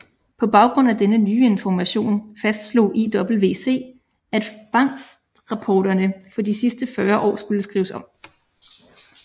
På baggrund af denne nye information fastslog IWC at fangstrapporterne for de sidste fyrre år skulle skrives om